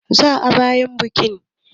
Za a ba 'yan buki abinci.